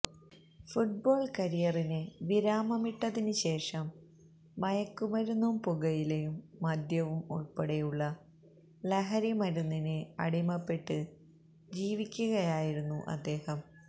football കരിയറിന് വിരാമമിട്ടതിന് ശേഷം മയക്കുമരുന്നും പുകയിലയും മദ്യവും ഉള്പ്പെടെയുള്ള ലഹരി മരുന്നിന് അടിമപ്പെട്ട് ജീവിക്കുകയായിരുന്നു അദ്ദേഹം